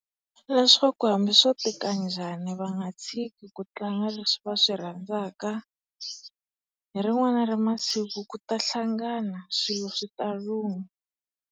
Leswaku hambi swo tika njhani va nga tshiki ku tlanga leswi va swi rhandzaka. Hi rin'wani ra masiku ku ta hlangana, swilo swi ta lungha.